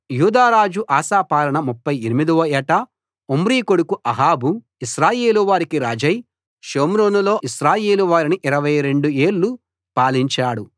యూదారాజు Asa పాలన 38 వ ఏట ఒమ్రీ కొడుకు అహాబు ఇశ్రాయేలు వారికి రాజై షోమ్రోనులో ఇశ్రాయేలు వారిని 22 ఏళ్ళు పాలించాడు